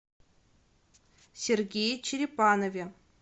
сергее черепанове